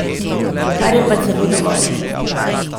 Kar je pa celo dovolj.